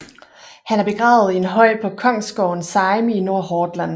Han er begravet i en høj på kongsgården Seim i Nordhordland